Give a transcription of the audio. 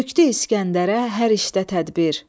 Tökdü İsgəndərə hər işdə tədbir.